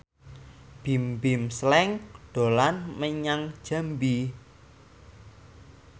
Bimbim Slank dolan menyang Jambi